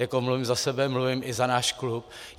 Jako mluvím za sebe, mluvím i za náš klub.